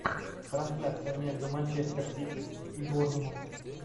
трансляция между манчестер сити и борнмут